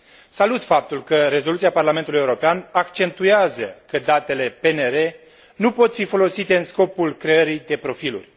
Salut faptul că rezoluția Parlamentului European accentuează că datele PNR nu pot fi folosite în scopul creării de profiluri.